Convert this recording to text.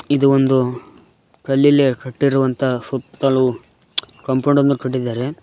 ಇದು ಒಂದು ಕಲ್ಲಿಲ್ಲಿಯೇ ಕಟ್ಟಿರುವಂತಹ ಸುತ್ತಲು ಕಾಂಪೌಂಡ್ ಅನ್ನು ಕಟ್ಟಿದ್ದಾರೆ.